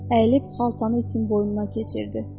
Əyilib xaltanı itin boynuna keçirdi.